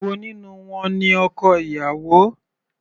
Èwo nínú wọn ni ọkọ ìyàwó.